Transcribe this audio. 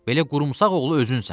Belə qurumsaq oğlu özünsən.